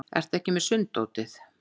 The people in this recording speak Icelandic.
Ertu ekki með sunddótið?